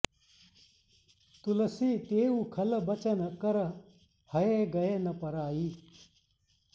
तुलसी तेउ खल बचन कर हए गए न पराइ